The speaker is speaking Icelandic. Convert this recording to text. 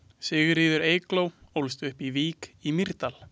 Sigríður Eygló ólst upp í Vík í Mýrdal.